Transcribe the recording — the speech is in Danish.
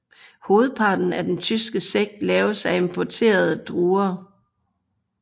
Hovedparten af den tyske sekt laves af af importerede druer